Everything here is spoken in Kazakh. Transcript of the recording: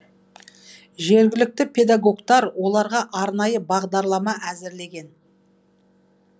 жергілікті педагогтар оларға арнайы бағдарлама әзірлеген